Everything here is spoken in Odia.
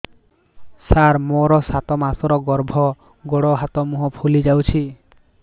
ସାର ମୋର ସାତ ମାସର ଗର୍ଭ ଗୋଡ଼ ହାତ ମୁହଁ ଫୁଲି ଯାଉଛି